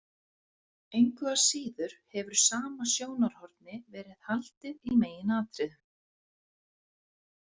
Engu að síður hefur sama sjónarhorni verið haldið í meginatriðum.